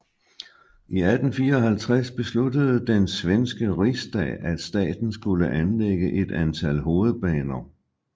I 1854 besluttede den svenske Riksdag at staten skulle anlægge et antal hovedbaner